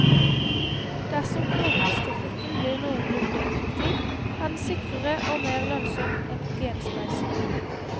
Dersom kloningsteknikken blir noenlunne effektiv, er den sikrere og mer lønnsom enn genspleising.